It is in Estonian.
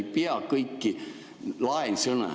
Ei pea kõiki laensõnu ...